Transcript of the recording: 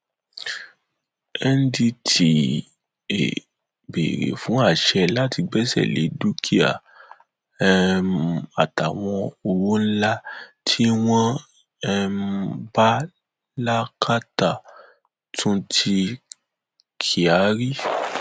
ndtea béèrè fún àṣẹ láti gbẹsẹ lé dúkìá um àtàwọn owó ńlá tí wọn um bá lákàtúntì kyari